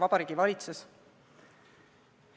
Vabariigi Valitsus!